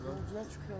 Çox gözəl çıxır.